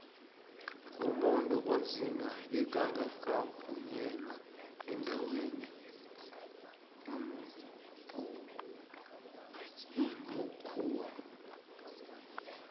umuntu onzima beka ngakavunyelwa endaweni yambkhuwo